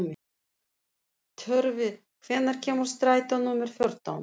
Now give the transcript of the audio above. Tjörvi, hvenær kemur strætó númer fjórtán?